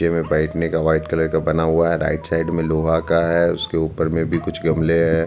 नीचे में बैठने का व्हाइट कलर का बना हुआ है राइट साइड में लोहा का है उसके ऊपर में भी कुछ गमले है।